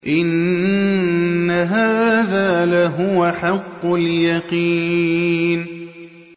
إِنَّ هَٰذَا لَهُوَ حَقُّ الْيَقِينِ